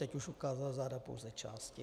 Teď už ukázal záda pouze části.